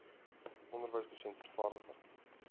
onderwyser dosent vervaardiger